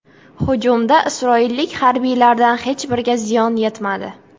Hujumda isroillik harbiylardan hech biriga ziyon yetmadi.